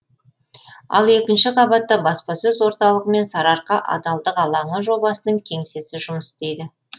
ал екінші қабатта баспасөз орталығы мен сарыарқа адалдық алаңы жобасының кеңсесі жұмыс істейді